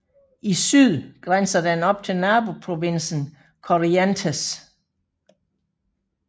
I syd grænser den op til naboprovinsen Corrientes